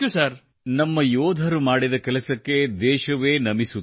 ಸ್ನೇಹಿತರೆ ನಮ್ಮ ಯೋಧರು ಮಾಡಿದ ಕೆಲಸಕ್ಕೆ ದೇಶವೇ ನಮಿಸುತ್ತದೆ